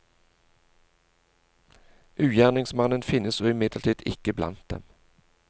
Ugjerningemannen finnes imidlertid ikke blant dem.